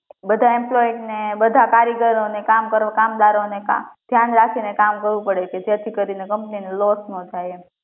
બધા employee ને બધા કારીગરો ને કામદારો ને ધ્યાન રાખીને કામ કરવું પડે કે જેથી કરીને company નો loss ના જાય એમ